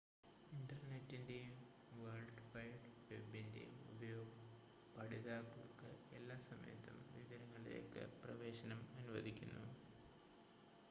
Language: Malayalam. ഇൻ്റർനെറ്റിൻ്റെയും വേൾഡ് വൈഡ് വെബിൻ്റെയും ഉപയോഗം പഠിതാക്കൾക്ക് എല്ലാ സമയത്തും വിവരങ്ങളിലേക്ക് പ്രവേശനം അനുവദിക്കുന്നു